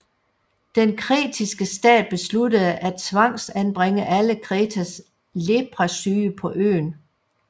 Den Kretiske stat besluttede at tvangsanbringe alle Kretas Leprasyge på øen